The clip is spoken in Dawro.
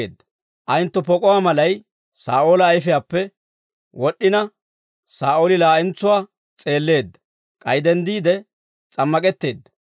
Ellekka, ayentto pok'uwaa malay Saa'oola ayfiyaappe wod'd'ina, Saa'ooli laa'entsuwaa s'eelleedda; k'ay denddiide s'ammak'etteedda.